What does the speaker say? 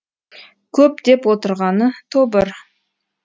көп деп отырғаны тобыр